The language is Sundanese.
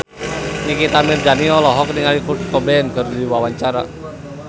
Nikita Mirzani olohok ningali Kurt Cobain keur diwawancara